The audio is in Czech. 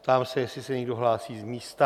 Ptám se, jestli se někdo hlásí z místa.